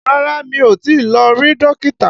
Rárá, mi ò tí lọ rí Dókítà